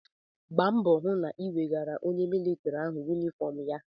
Gba mbọ hụ na ị wegaara onye militrị ahụ yunifọm ya!